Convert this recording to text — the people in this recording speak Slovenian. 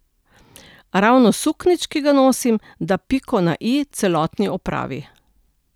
A ravno suknjič, ki ga nosim, da piko na i celotni opravi.